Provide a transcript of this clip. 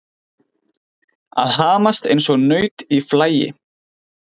Að hamast eins og naut í flagi